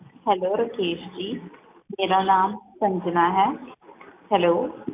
hello Rakesh ji ਮੇਰਾ ਨਾਮ ਸੰਜਨਾ ਹੈ hello